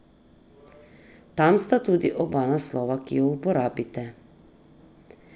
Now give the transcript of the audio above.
Tam sta tudi oba naslova, ki ju uporabite.